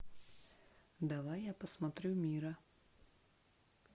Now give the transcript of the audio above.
давай я посмотрю мира